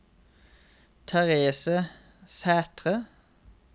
Therese Sæthre